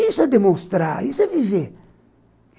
Isso é demonstrar, isso é viver.